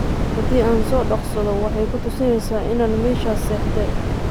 Hadi aan sodoqsodho waxay kutusineysa inan meshas sexdhe.